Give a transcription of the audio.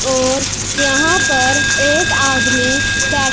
और यहां पर एक आदमी बै--